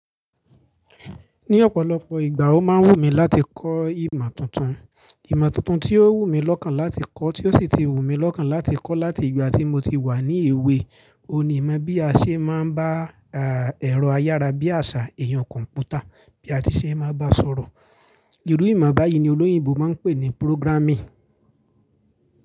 Ní ọ̀pọ̀lọpọ̀ ìgbà ó máa ń wù mí láti kọ́ ìmọ̀ tuntun. Ìmọ̀ tuntun tí ó wù mí lọ́kàn láti kọ́, tí ó sì ti wù mí lọ́kàn láti kọ́ láti ìgbà tí mo ti wà ní èwe, òun ni ìmọ̀ bí a ṣe máa ń bá, à, ẹ̀rọ ayára bí àṣá, ẹ̀yàn kọ̀ǹpútà bí a ti ṣe máa bá a sọ̀rọ̀. Irú ìmọ̀ báyìí ni olóyìnbo máa ń pè ní programming.